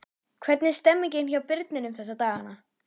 Hvernig er stemningin hjá Birninum þessa dagana?